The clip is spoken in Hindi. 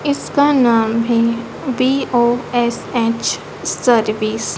इसका नाम है बी_ओ_एस_एच सर्विस ।